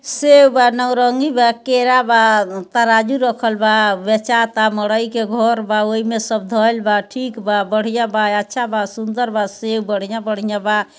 सेब बा नारंगी बा केला बा तराजू रखल बा बेचाता मोरई के घर बा ओय में सब धइल बा ठीक बा बढ़िया बा अच्छा बा सुंदर बा सेब बढ़िया-बढ़िया बा।